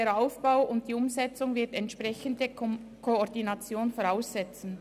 Der Aufbau und die Umsetzung werden eine entsprechende Koordination voraussetzen.